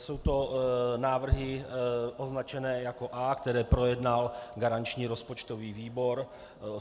Jsou to návrhy označené jako A, které projednal garanční rozpočtový výbor.